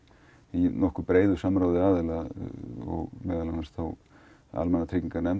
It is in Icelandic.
í breiðu samráði aðila meðal annars